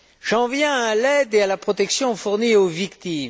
J'en viens à l'aide et à la protection fournies aux victimes.